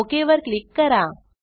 okay वर click करा